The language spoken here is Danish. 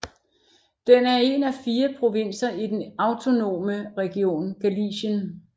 Den er en af fire provinser i den autonome region Galicien